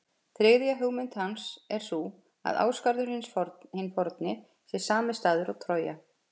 Þriðja hugmynd hans er sú að Ásgarður hinn forni sé sami staður og Trója.